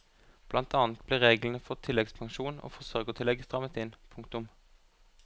Blant annet ble reglene for tilleggspensjon og forsørgertillegg strammet inn. punktum